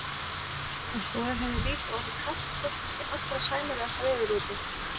Og svo er henni líka orðið kalt þótt það sé allra sæmilegasta veður úti.